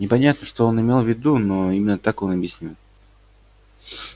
непонятно что он имел в виду но именно так он объяснил